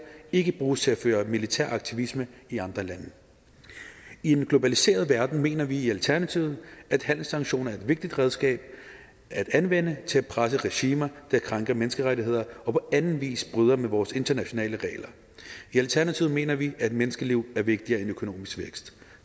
ikke bruges til at føre militær aktivisme i andre lande i en globaliseret verden mener vi i alternativet at handelssanktioner er et vigtigt redskab at anvende til at presse regimer der krænker menneskerettigheder og på anden vis bryder med vores internationale regler i alternativet mener vi at menneskeliv er vigtigere end økonomisk vækst